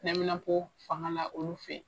Neminapo fanga la olu fɛ yen